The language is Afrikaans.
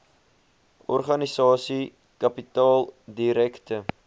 organisasie kapitaal direkte